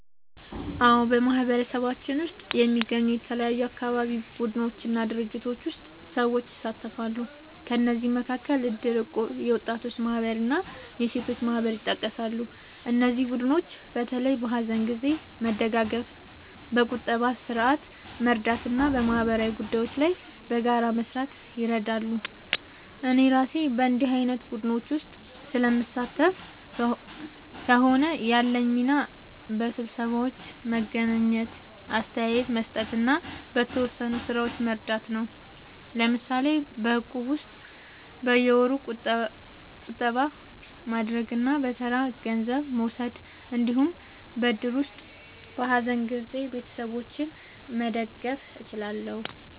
አዎ፣ በማህበረሰባችን ውስጥ የሚገኙ የተለያዩ አካባቢ ቡድኖች እና ድርጅቶች ውስጥ ሰዎች ይሳተፋሉ። ከእነዚህ መካከል እድር፣ እቁብ፣ የወጣቶች ማህበር እና የሴቶች ማህበር ይጠቀሳሉ። እነዚህ ቡድኖች በተለይ በሀዘን ጊዜ መደጋገፍ፣ በቁጠባ ስርዓት መርዳት እና በማህበራዊ ጉዳዮች ላይ በጋራ መስራት ይረዳሉ። እኔ እራሴ በእንዲህ ዓይነት ቡድኖች ውስጥ ስለምሳተፍ ከሆነ፣ ያለኝ ሚና በስብሰባዎች መገኘት፣ አስተያየት መስጠት እና በተወሰኑ ሥራዎች መርዳት ነው። ለምሳሌ በእቁብ ውስጥ በየወሩ ቁጠባ ማድረግ እና በተራ ገንዘብ መውሰድ እንዲሁም በእድር ውስጥ በሀዘን ጊዜ ቤተሰቦችን መደገፍ እችላለሁ።